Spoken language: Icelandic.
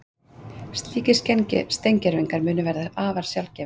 Slíkir steingervingar munu vera afar sjaldgæfir